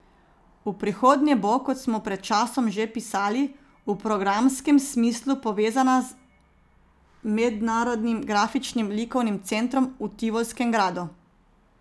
V prihodnje bo, kot smo pred časom že pisali, v programskem smislu povezana z Mednarodnim grafičnim likovnim centrom v Tivolskem gradu.